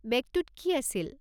বেগটোত কি আছিল?